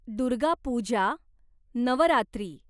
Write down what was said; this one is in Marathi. दुर्गा पूजा, नवरात्री